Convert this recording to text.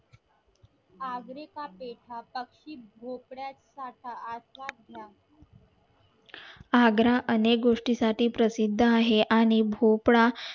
आग्रा चा पेठा आग्रा अनेक गोष्टी साठी प्रसिद्द आहे आणि भोपळा